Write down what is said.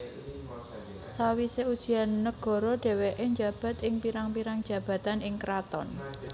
Sawise ujian nagara dheweke njabat ing pirang pirang jabatan ing kraton